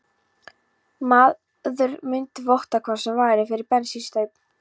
Þessi maður mundi votta hvað sem væri fyrir brennivínsstaup